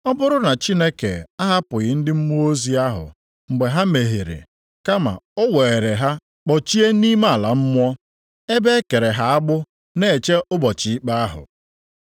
Ọ bụrụ na Chineke ahapụghị ndị mmụọ ozi ahụ mgbe ha mehiere, kama o weere ha kpọchie nʼime ala mmụọ, + 2:4 Maọbụ, olulu ọchịchịrị ma ọ bụkwanụ, Tatarọs nʼasụsụ Griik ebe e kere ha agbụ na-eche ụbọchị ikpe ahụ.